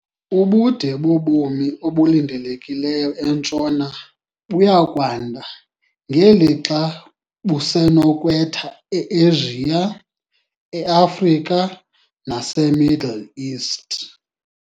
Ubude bobomi obulindelekileyo entshona buya kwanda ngelixa busenokwetha eAsia, eAfrika naseMiddle East.